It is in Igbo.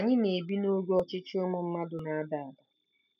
Anyị na-ebi n'oge ọchịchị ụmụ mmadụ na-ada ada.